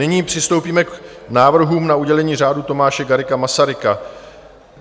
Nyní přistoupíme k návrhům na udělení Řádu Tomáše Garrigua Masaryka.